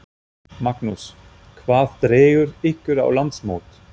Magnús: Hvað dregur ykkur á landsmót?